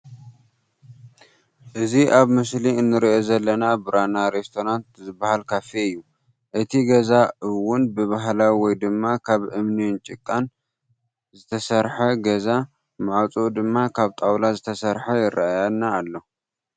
እዚ ኣብ ምስሊ እንሪኦ ዘለና ብራና ሬስቶራንት ዝባሃል ካፌ እዩ። እቲ ገዛ እውን ብባህላዊ ወይ ድማ ካብ እምኒን ጭቃን ስተሰርሓ ገዛ ማዕፅኡ ድማ ካብ ጣውላ ዝተሰርሐ ይረአየና ኣሎ።